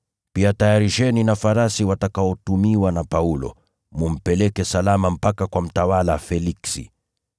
Pia tayarisheni na farasi watakaotumiwa na Paulo, mkampeleke salama kwa mtawala Feliksi.”